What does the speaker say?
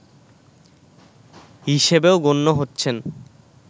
হিসেবেও গণ্য হচ্ছেন